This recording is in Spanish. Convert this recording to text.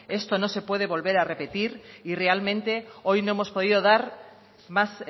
esto no se puede volver a repetir y realmente hoy no hemos podido dar más